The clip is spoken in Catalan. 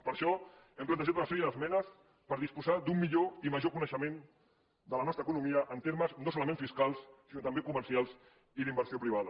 per això hem plantejat una sèrie d’esmenes per disposar d’un millor i major coneixement de la nostra economia en termes no solament fiscals sinó també comercials i d’inversió privada